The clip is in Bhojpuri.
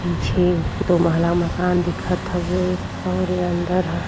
पीछे दो महला मकान दिखत हउए और इ अंदर ह।